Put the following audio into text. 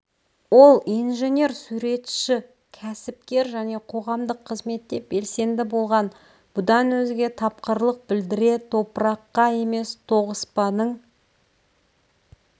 ол инженер суретші кәсіпкер және қоғамдық қызметте белсенді болған бұдан өзге тапқырлық білдіре топыраққа емес тоғыспаның